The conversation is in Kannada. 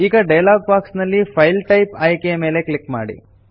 ಈಗ ಡಯಲಾಗ್ ಬಾಕ್ಸ್ ನಲ್ಲಿ ಫೈಲ್ ಟೈಪ್ ಆಯ್ಕೆಯ ಮೇಲೆ ಕ್ಲಿಕ್ ಮಾಡಿ